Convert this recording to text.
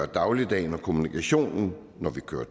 dagligdagen og kommunikationen når vi kører